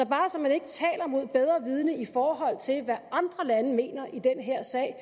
bare så man ikke taler mod bedre vidende i forhold til hvad andre lande mener i den her sag og